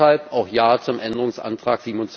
Deshalb auch Ja zum Änderungsantrag